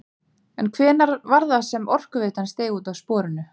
En hvenær var það sem Orkuveitan steig út af sporinu?